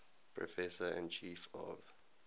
professor and chief of